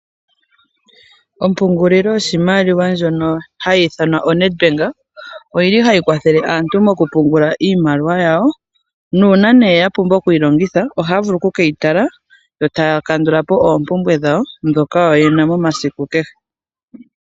Ompungulilo yoshimaliwa ndjono hayi ithanwa o Netbank ohayi kwathele aantu okupungula iimaliwa yayo. Uuna yapumbwa okuyi longitha ohaye keyi tala etaya kandula po oompumbwe dhawo ndhoka yena momasiku kehe.